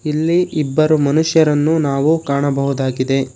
ಇಲ್ಲಿ ಇಬ್ಬರು ಮನುಷ್ಯರನ್ನು ನಾವು ಕಾಣಬಹುದಾಗಿದೆ.